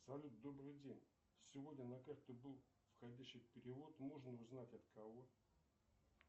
салют добрый день сегодня на карту был входящий перевод можно узнать от кого